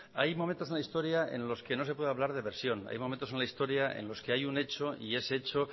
hay momentos en la historia en los que no se puede hablar de versión hay momentos en la historia en los que hay un hecho y ese hecho